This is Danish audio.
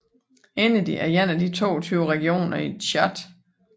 Ennedi er en af de 22 regioner i Tchad